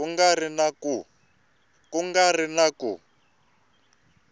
ku nga ri na ku